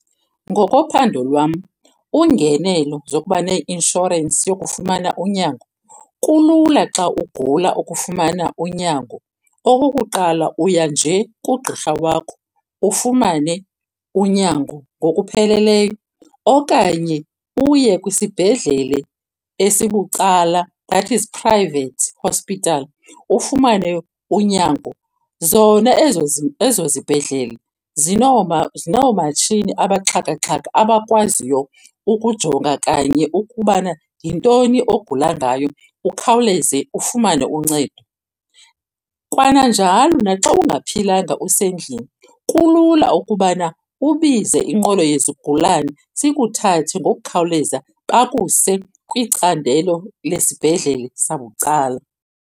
Ngokophando lwam ungenelo zokuba neeinshorensi yokufumana unyango kulula xa ugula ukufumana unyango. Okokuqala, uya nje kugqirha wakho ufumane unyango ngokupheleleyo okanye uye kwisibhedlele esibucala, that is private hospital, ufumane unyango. Zona ezo ezo zibhedlele zinoomatshini abaxhaka-xhaka abakwaziyo ukujonga kanye ukubana yintoni ogula ngayo, ukhawuleze ufumane uncedo. Kwananjalo naxa ungaphilanga usendlini kulula ukubana ubize inqwelo yezigulane sikuthathe ngokukhawuleza bakuse kwicandelo lesibhedlele sabucala.